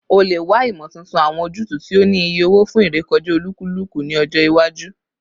O le wa imotuntun, awọn ojutu ti o ni iye owo fun irekọja olukuluku ni ọjọ iwaju